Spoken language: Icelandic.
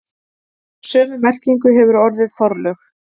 Sömu merkingu hefur orðið forlög.